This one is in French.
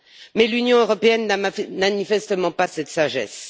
Mais l'Union européenne n'a manifestement pas cette sagesse.